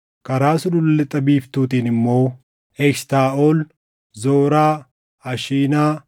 Karaa sulula lixa biiftuutiin immoo: Eshitaaʼol, Zoraa, Ashinaa,